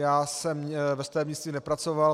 Já jsem ve stavebnictví nepracoval.